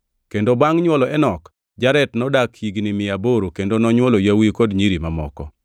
Kendo bangʼ nywolo Enok, Jared nodak higni mia aboro kendo nonywolo yawuowi kod nyiri mamoko.